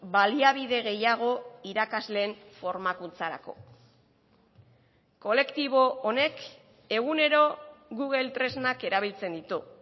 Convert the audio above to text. baliabide gehiago irakasleen formakuntzarako kolektibo honek egunero google tresnak erabiltzen ditu